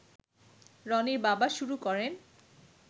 রনির বাবা শুরু করেন